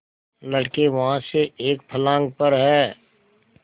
लड़के वहाँ से एक फर्लांग पर हैं